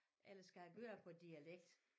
Eller skal jeg gøre det på dialekt